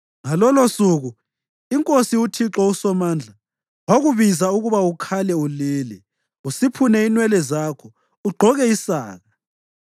Ngalolosuku iNkosi, uThixo uSomandla, wakubiza ukuba ukhale ulile, usiphune inwele zakho, ugqoke isaka.